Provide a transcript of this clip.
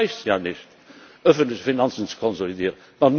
Es reicht ja nicht, öffentliche Finanzen zu konsolidieren.